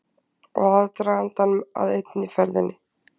Og aðdragandann að einni ferðinni.